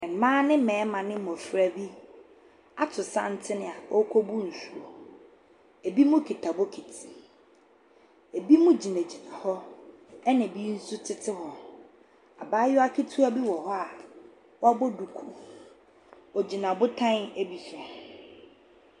Mmaa ne mmarima ne mmɔfra bi ato santene a wɔrekɔbu nsuo. Binom kita bokiti, binom gyinagyina hɔ na bi nso tete hɔ. Abaayewa ketewa bi wɔ hɔ a wabɔ duku, ogyina botan bi so.